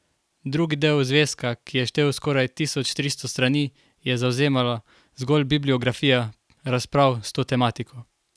Drugi del zvezka, ki je štel skoraj tisoč tristo strani, je zavzemala zgolj bibliografija razprav s to tematiko.